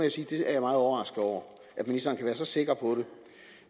jeg er meget overrasket over at ministeren kan være så sikker på det